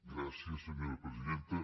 gràcies senyora presidenta